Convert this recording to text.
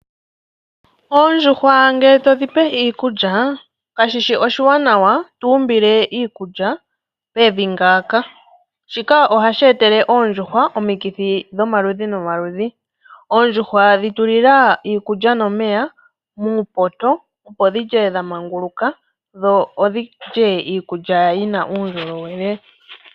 Oondjuhwa ngele todhi pe iikulya kashishi oshiwanawa to umbile iikulya pevi ngaaka. Shika ohashi etele oondjuhwa omikithi dhomaludhi nomaludhi. Oondjuhwa dhitulula iikulya nomeya muupoto opo dhilye dhamangunguluka dho odhilye iikulya yi na uundjolowele.